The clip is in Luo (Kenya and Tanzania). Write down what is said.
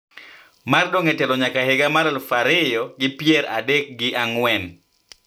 Mar dong` e telo nyaka higa mar aluf ariyo gi pier adek gi ang`wen